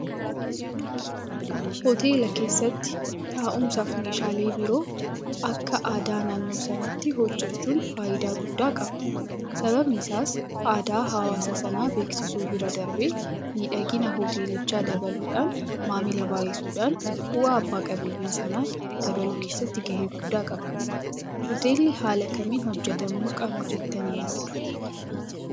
Hoteela keessatti taa'umsaafi meeshaalee biroo akka aadaa naannoo sanaatti hojjechuun faayidaa guddaa qaba. Sababni isaas aadaa hawaasa sanaa beeksisuu bira darbee miidhagina Hoteelichaa dabaluudhaan maamila baay'isuudhaan bu'aa abbaa qabeenyaa sanaa dabaluu keessatti gahee guddaa qaba. Hoteelli haala kamiin hojjetamuu qaba jettanii yaaddu?